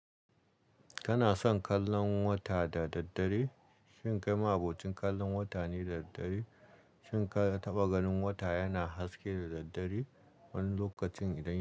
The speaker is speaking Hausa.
Kana son kallon wata da daddare? Shin kai ma abocin kallon wata ne da daddare? Shin ka taɓa ganin wata yana haske da daddare wani lokacin idan ya.